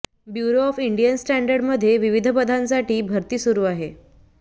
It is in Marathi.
ब्युरो ऑफ इंडियन स्टँडर्ड्समध्ये विविध पदांसाठी भरती सुरू आहे